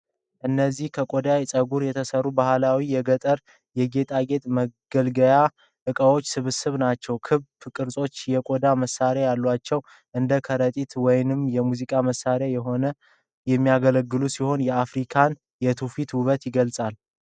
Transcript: እነዚህ ከቆዳና ከፀጉር የተሠሩ ባህላዊ የገጠር የጌጥና መገልገያ ዕቃዎች ስብስብ ናቸው። ክብ ቅርጾችና የቆዳ ማሰሪያዎች አሏቸው። እንደ ከረጢት ወይም የሙዚቃ መሣሪያ ሆነው የሚያገለግሉ ሲሆን፣ የአፍሪካን የትውፊት ውበት ይገልፃሉ።